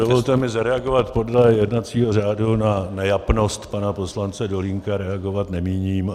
Dovolte mi zareagovat podle jednacího řádu - na nejapnost pana poslance Dolínka reagovat nemíním.